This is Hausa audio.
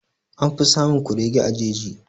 An fi samun kurege a jeji.